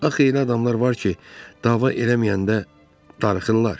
Axı elə adamlar var ki, dava eləməyəndə darıxırlar.